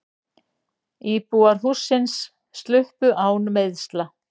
Íbúar hússins sluppu án meiðsla.